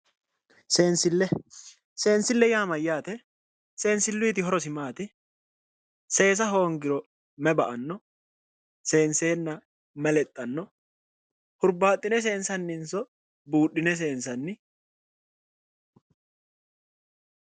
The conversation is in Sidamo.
sensille:-sensille yaa mayaate sensilluyiti horosi maati seessa hoongiro mayi ba"anno senseenna mayi lexxanno huribaaxine seenssanninso buudhine seenssanni